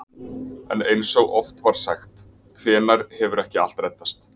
En eins og oft var sagt: hvenær hefur ekki allt reddast?